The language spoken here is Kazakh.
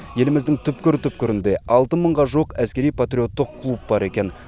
еліміздің түкпір түпкірінде алты мыңға жуық әскери патриоттық клуб бар екен